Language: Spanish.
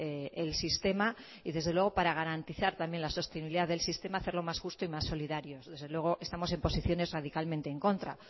el sistema y desde luego para garantizar también la sostenibilidad del sistema hacerlo más justo y más solidario desde luego estamos en posiciones radicalmente en contra